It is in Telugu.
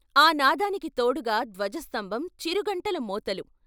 ఆ నాదానికి తోడుగా ధ్వజస్తంభం చిరు గంటల మోతలు.